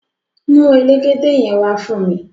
Mu elégédé yen wà fún mi!